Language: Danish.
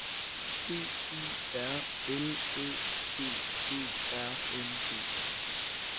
D Y R L Æ G E R N E